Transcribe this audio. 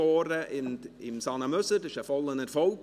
Dies war ein voller Erfolg.